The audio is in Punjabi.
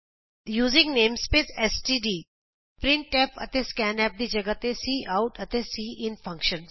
ਯੂਜ਼ਿੰਗ ਨੇਮਸਪੇਸ ਐਸਟੀਡੀ ਅਤੇ ਪ੍ਰਿੰਟਫ ਅਤੇ ਸਕੈਨਫ ਦੀ ਜਗਾਹ ਤੇ ਕਾਉਟ ਅਤੇ ਸਿਨ ਫੰਕਸ਼ਨ